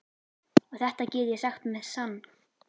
Og þetta get ég sagt með sann.